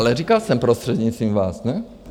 Ale říkal jsem prostřednictvím vás, ne?